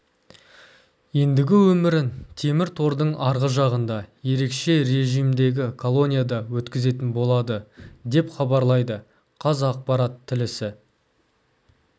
ендігі өмірін темір тордың арғы жағында ерекше режімдегі колонияда өткізетін болады деп хабарлайды қазақпарат тілісі